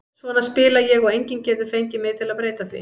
Svona spila ég og enginn getur fengið mig til að breyta því.